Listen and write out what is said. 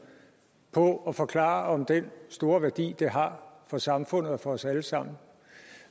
på at forklare om den store værdi det har for samfundet og for os alle sammen